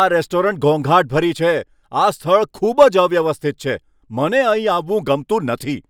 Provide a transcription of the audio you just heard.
આ રેસ્ટોરન્ટ ઘોંઘાટભરી છે, આ સ્થળ ખૂબ જ અવ્યવસ્થિત છે, મને અહીં આવવું ગમતું નથી.